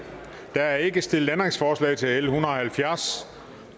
der er ikke stillet ændringsforslag til l en hundrede og halvfjerds